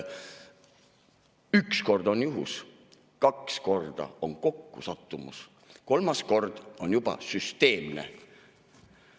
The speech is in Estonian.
Üks kord on juhus, kaks korda on kokkusattumus, kolmas kord on juba süsteemne.